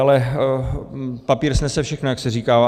Ale papír snese všechno, jak se říká.